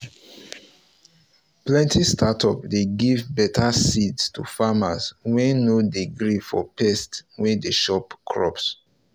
plenty startup dey give better seeds to farmers wey no dey gree for pest wey dey chop crops